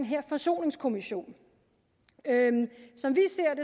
her forsoningskommission som vi